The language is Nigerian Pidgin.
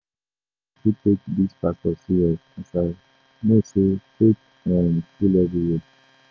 I no dey too take dese pastors serious as I know sey fake um full everywhere.